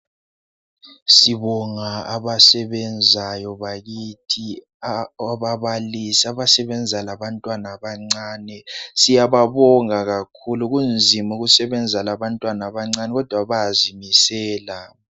Sibonga abasebenzayo bakithi ababalisi abasebenza labantwana abancane siyababonga kunzima ukusebenza labantwana abancane kodwa bayazimisela